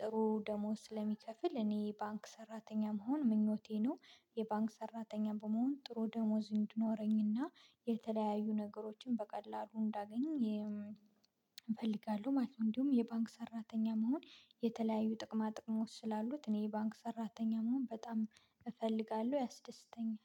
ጥሩ ደሞዝ ስለሚከፍል እኔ ባንክ ሰራተኛ መሆን ምኞቴ ነው። የባንክ ሰራተኛ በመሆን ጥሩ ደሞዝ እንዲኖረኝና የተለያዩ ነገሮችን በቀላሉ እንዳገኝ እፈልጋለሁ ማለት ነው። እንዲሁም የባንክ ሰራተኛ መሆን የተለያዩ ጥቅማ -ጥቅሞች ስላሉት እኔ የባንክ ሰራተኛ መሆን በጣም እፈልጋለሁ ያስደስተኛል።